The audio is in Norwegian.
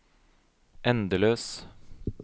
endeløs